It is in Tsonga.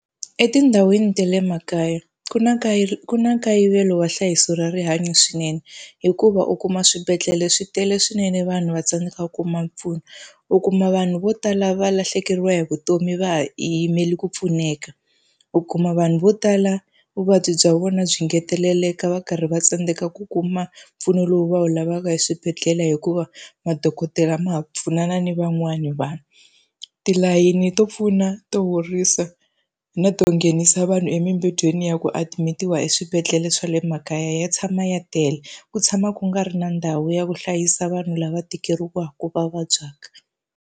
Etindhawini ta le makaya ku na ku na nkayivelo wa nhlayiso ra rihanyo swinene. Hikuva u kuma swibedhlele swi tele swinene vanhu va tsandzeka ku ku kuma mpfuno. U kuma vanhu vo tala va lahlekeriwa hi vutomi va ha yimele ku pfuneka. U kuma vanhu vo tala vuvabyi bya vona byi engeteleleka va karhi va tsandzeka ku kuma mpfuno lowu va wu lavaka hi eswibedhlele hikuva madokodela ma ha pfunana ni van'wani vanhu. Tilayini to pfuna, to horisa, na to nghenisa vanhu emimbedweni ya ku adimitiwa eswibedhlele swa le makaya ya tshama ya tele. Ku tshama ku nga ri na ndhawu ya ku hlayisa vanhu lava tekeriwaka, va vabyaka.